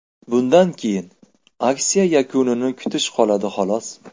Bundan keyin aksiya yakunini kutish qoladi, xolos.